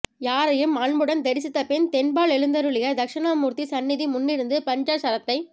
யாரையும் அன்புடன் தெரிசித்துப்பின் தென்பாலெழுந்தருளிய தக்ஷணா மூர்த்தி சந்நிதி முன்னிருந்து பஞ்சாக்ஷரத்தைச்